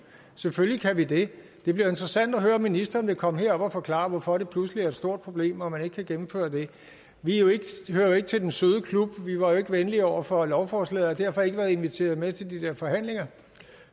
selvfølgelig kan vi det det bliver interessant at høre om ministeren vil komme herop og forklare hvorfor det pludselig er et stort problem og man ikke kan gennemføre det vi hører jo ikke til den søde klub vi var ikke venlige over for lovforslaget og har derfor ikke været inviteret med til de der forhandlinger